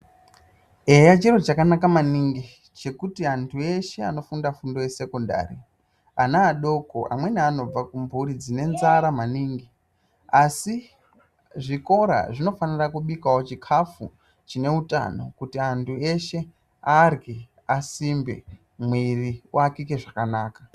Eya chinhu chakanaka maningi chekuti antu eshe anofunda fundo yesekondari ana adoko amweni anobva kumhuri dzine nzara maningi asi zvikora zvinofanirawo kubika chikafu chine utano kuti antu eshe arye asimbe mwiri uwakike zvakanaka.